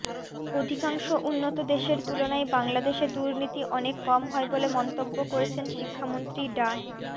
অধিকাংশ উন্নত দেশের তুলনায় বাংলাদেশে দুর্নীতি অনেক কম হয় বলে মন্তব্য করেছেন শিক্ষামন্ত্রী ডা